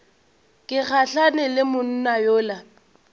ke gahlane le monna yola